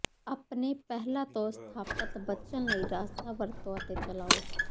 ਆਪਣੇ ਪਹਿਲਾਂ ਤੋਂ ਸਥਾਪਤ ਬਚਣ ਲਈ ਰਸਤਾ ਵਰਤੋ ਅਤੇ ਚਲਾਓ